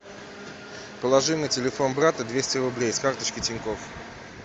положи на телефон брата двести рублей с карточки тинькофф